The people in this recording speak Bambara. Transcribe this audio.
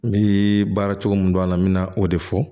N bɛ baara cogo min don a la n bɛ na o de fɔ